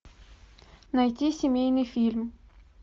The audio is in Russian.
найти семейный фильм